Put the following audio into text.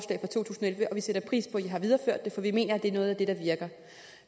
elleve vi sætter pris på at det for vi mener det er noget af det der virker